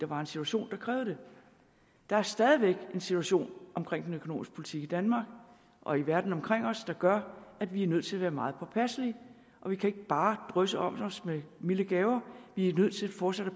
var en situation der krævede det der er stadig væk en situation omkring den økonomiske politik i danmark og i verden omkring os der gør at vi er nødt til at være meget påpasselige og vi kan ikke bare drysse om os med milde gaver vi er nødt til fortsat at